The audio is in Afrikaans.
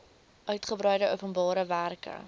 uigebreide openbare werke